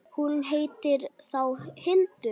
Hún heitir þá Hildur!